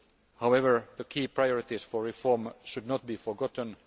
However, the key priorities for reform should not be forgotten.